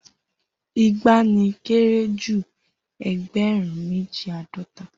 Igba ni kere ju egberun meji ãdọta.